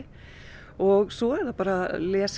og svo er það bara